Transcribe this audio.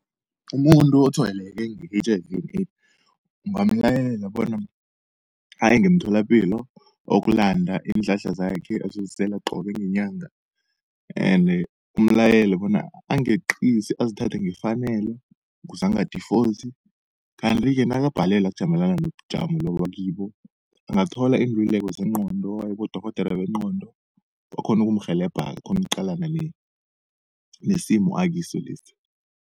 Umuntu otshwayeleke nge-H_I_V and AIDS ungamlayela bona aye ngemtholapilo, ayokulanda iinhlahla zakhe azozisela qobe ngenyanga. Ende umlayele bona angeqisi azithathe ngefanelo kuze anga-default. Kanti-ke nakabhalelwa kujamelana nobujamo lobu akibo, angathola iinlululeko zengqondo aye kibodorhodere bengqondo bakghone ukumrhelebha-ke akghone ukuqalana nesimo akiso lesi.